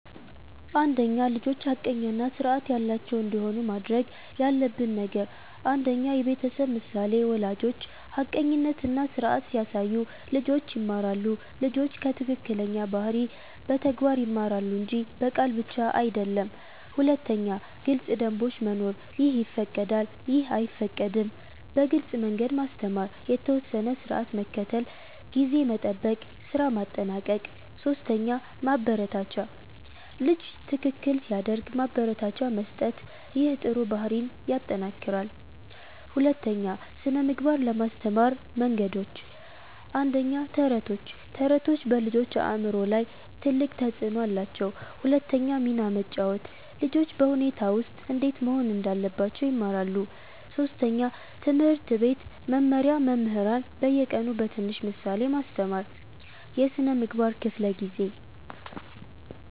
1) ልጆች ሐቀኛ እና ስርዓት ያላቸው እንዲሆኑ ማድረግ ያለብን ነገር 1. የቤተሰብ ምሳሌ ወላጆች ሐቀኝነት እና ስርዓት ሲያሳዩ ልጆች ይማራሉ ልጆች ከትክክለኛ ባህሪ በተግባር ይማራሉ እንጂ በቃል ብቻ አይደለም 2. ግልጽ ደንቦች መኖር “ይህ ይፈቀዳል / ይህ አይፈቀድም” በግልጽ መንገድ ማስተማር የተወሰነ ስርዓት መከተል (ጊዜ መጠበቅ፣ ስራ ማጠናቀቅ 3 ማበረታቻ ልጅ ትክክል ሲያደርግ ማበረታቻ መስጠት ይህ ጥሩ ባህሪን ይጠናክራል 2) ስነ ምግባር ለማስተማር መንገዶች 1. ተረቶች ተረቶች በልጆች አእምሮ ላይ ትልቅ ተፅዕኖ አላቸው 2 ሚና መጫወት ልጆች በሁኔታ ውስጥ እንዴት መሆን እንዳለባቸው ይማራሉ 3. ትምህርት ቤት መመሪያ መምህራን በየቀኑ በትንሽ ምሳሌ ማስተማር የስነ ምግባር ክፍለ ጊዜ